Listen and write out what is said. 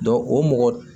o mɔgɔ